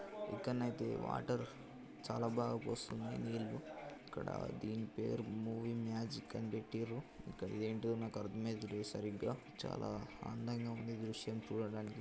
ఇక్కనైతే water చాలా బాగా పొస్తుంది నీళ్లు ఇక్కడా దీని పేరు మూవీ మ్యాజిక్ అనిపెట్టిండ్రు ఇక్క--ఇది ఏంటిదో నాకు అర్థమైత లేదుసరిగ్గా చాలా అందంగా ఉంది దృశ్యం చూడడానికి అయితే.